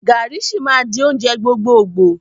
Garri sì máa di oúnjẹ gbogbogboo